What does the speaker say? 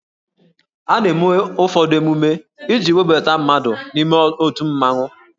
A na-eme ụfọdụ emume iji webata mmadụ n'ime otu mmanwụ